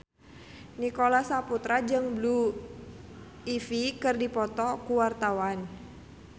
Nicholas Saputra jeung Blue Ivy keur dipoto ku wartawan